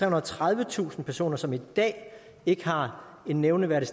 og tredivetusind personer som i dag ikke har en nævneværdig